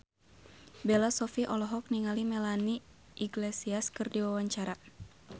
Bella Shofie olohok ningali Melanie Iglesias keur diwawancara